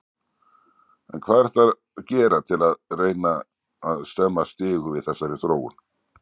En hvað er hægt að gera til að reyna stemma stigu við þessari þróun?